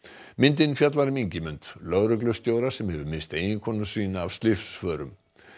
myndin fjallar um Ingimund lögreglustjóra sem hefur misst eiginkonu sína af slysförum